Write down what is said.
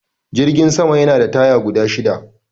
Jirgin sama Yana da taya guda shida